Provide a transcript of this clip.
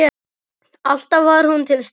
Alltaf var hún til staðar.